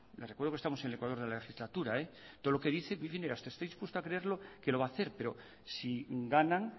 le recuerdo que estamos en el ecuador de la legislatura todo lo que dice estoy dispuesto a creerlo que lo va a hacer pero si ganan